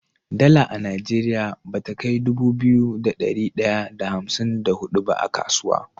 Dala a nigeria bata kai Dubu biyu da dari daya da hamsin da hudu ba a kasuwa